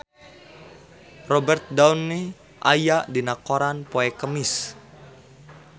Robert Downey aya dina koran poe Kemis